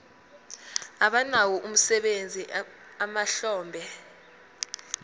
abanawo umsebenzi emahlombe